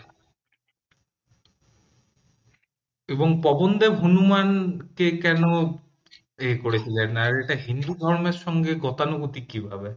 এবং পবনদেব হনুমান কে কেন এ করেছিলেন এটা হিন্দু ধর্মের সঙ্গে গতানুগতিক কী ভাবে